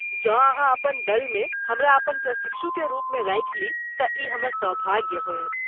जँ अहाँ अपन दलमे हमरा अपन प्रशिक्षुकेँ रुपमे राखि ली तँ ई हमर सौभाग्य होयत।